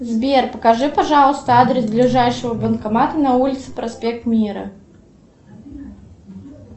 сбер покажи пожалуйста адрес ближайшего банкомата на улице проспект мира